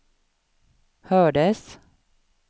hördes